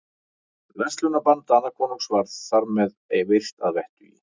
Verslunarbann Danakonungs var þar með virt að vettugi.